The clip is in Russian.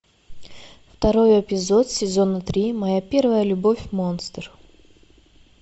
второй эпизод сезона три моя первая любовь монстр